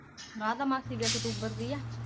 ਰਾਧਾ ਮਾਸੀ ਤੇ ਅਕਤੂਬਰ ਦੀ ਐ